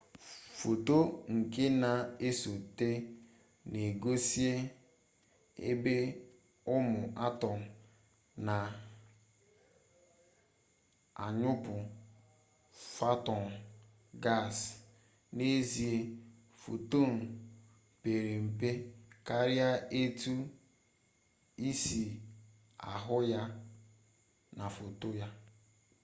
foto nke na-esote na-egosie ebe ụmụ atọm a na-anyụpụ fotọn gasị n'ezie fotọn pere mpe karịa etu i si ahụ na foto a